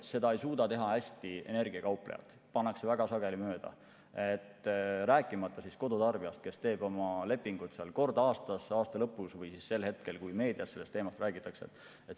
Seda ei suuda hästi teha ka energiakauplejad, väga sageli pannakse mööda, rääkimata kodutarbijast, kes teeb oma lepingud kord aastas, aasta lõpus või sel hetkel, kui meedias sellest teemast räägitakse.